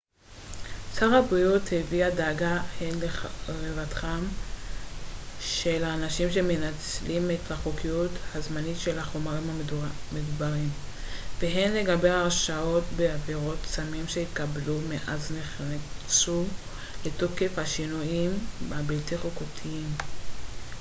שר הבריאות הביע דאגה הן לרווחתם של אנשים שמנצלים את החוקיות הזמנית של החומרים המדוברים והן לגבי הרשעות בעבירות סמים שהתקבלו מאז נכנסו לתוקף השינויים הבלתי חוקתיים